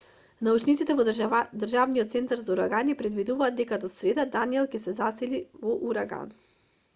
научниците во државниот центар за урагани предвидуваат дека до среда даниел ќе се засили во ураган